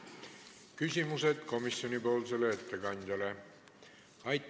Küsimusi komisjoni ettekandjale ei ole.